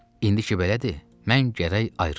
İndiki belədir, mən gərək ayrılam.